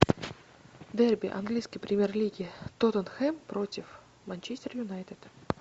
дерби английской премьер лиги тоттенхэм против манчестер юнайтед